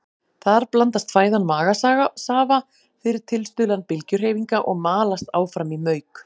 Þar blandast fæðan magasafa fyrir tilstuðlan bylgjuhreyfinga og malast áfram í mauk.